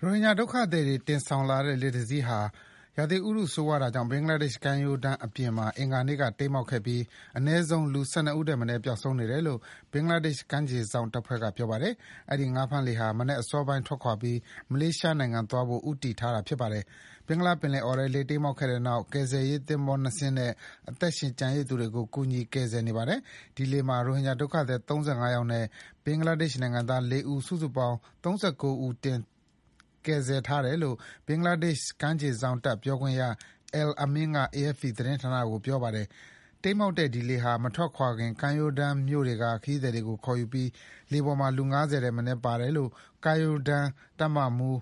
ရိုဟင်ဂျာဒုက္ခသည်တွေ တင်ဆောင်လာတဲ့လှေတစင်းဟာ ရာသီဥတုဆိုးဝါးတာကြောင့် ဘင်္ဂလားဒေ့ရှ်ကမ်းရိုတန်းအပြင်မှာ အင်္ဂါနေ့က တိမ်းမှောက်ခဲ့ပြီး အနည်းဆုံးလူ ၁၂ ဦးထက်မနည်း ပျောက်ဆုံးနေတယ်လို့ ဘင်္ဂလားဒေ့ရှ် ကမ်းခြေစောင့်တပ်ဖွဲ့က ပြောပါတယ်။ အဲဒီ ငါးဖမ်းလှေဟာ မနက်စောပိုင်းထွက်ခွာပြီး မလေးရှားနိုင်ငံသွားဖို့ ဦးတည် ထားတာပါ။ ဘင်္ဂလားပင်လယ်အော်ထဲ လှေတိမ်းမှောက်ခဲ့တဲ့နောက် ကယ်ဆယ်ရေးသင်္ဘော၂ စင်းနဲ့ အသက်ရှင်ကျန်ရစ်သူတွေကို ကူညီကယ်ဆယ်နေပါတယ်။ ဒီလှေမှာ ရိုဟင်ဂျာဒုက္ခသည် ၃၅ ယောက်နဲ့ ဘင်္ဂလာဒေ့ရှ်နိုင်ငံသား ၄ ဦး စုစုပေါင်း ၃၉ ဦး ကယ်ဆယ်ထားတယ် လို့ ဘင်္ဂလားဒေ့ရှ် ကမ်းခြေစောင့်တပ် ပြောခွင့်ရ Al Amin က AFP သတင်းဌာနကို ပြောပါတယ်။ တိမ်းမှောက်တဲ့ ဒီလှေဟာ မထွက်ခွာခင်မှာ ကမ်းရိုးတန်းမြို့တွေက ခရီးသည်တွေကို ခေါ်ယူခဲ့ပြီး လှေပေါ်မှာ လူ ၅၀ ထက်မနည်းပါတယ်လို့ ကမ်းရိုးတန်းတပ် တပ်မှူး